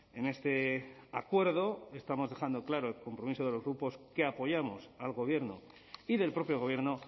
en este acuerdo estamos dejando claro el compromiso de los grupos que apoyamos al gobierno y del propio gobierno